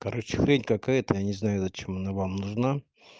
короче хрень какая-то я не знаю зачем она вам нужна